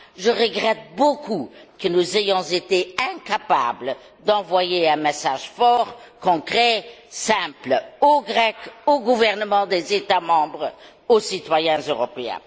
Je regrette beaucoup que nous ayons été incapables d'envoyer un message fort, concret et simple, aux Grecs, aux gouvernements des États membres et aux citoyens européens.